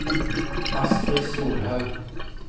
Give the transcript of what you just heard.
Astri Solhaug